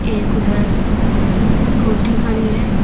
एक उधर स्कूटी खड़ी है।